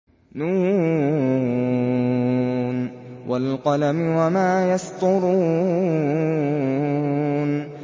ن ۚ وَالْقَلَمِ وَمَا يَسْطُرُونَ